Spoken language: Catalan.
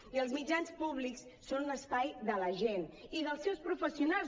i els mitjans públics són un espai de la gent i dels seus professionals